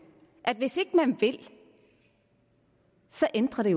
at hvis ikke man vil så ændrer det